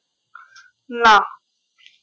না